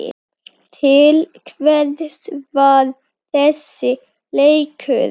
Til hvers var þessi leikur?